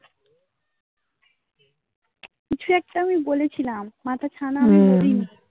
কি ছু একটা আমি বলেছিলাম. মাথা ছানা আমি বলিনি